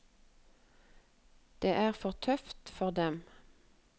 Det er for tøft for dem.